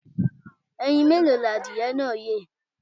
Ẹyin mélòó ni adìyẹ náà yé.